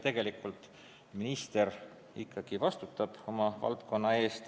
Tegelikult minister ikkagi vastutab oma valdkonna eest.